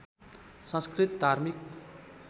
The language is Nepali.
संस्कृत धार्मिक